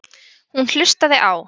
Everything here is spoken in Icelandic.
Hún hlustaði á